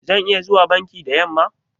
Zan iya zuwa banki da yamma?